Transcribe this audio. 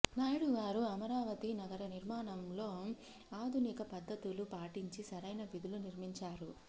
నాయుడుగారు అమరావతి నగర నిర్మాణంలో ఆధునిక పద్ధతులు పాటించి సరైన వీధులు నిర్మించాడు